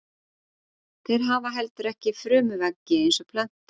Þeir hafa heldur ekki frumuveggi eins og plöntur.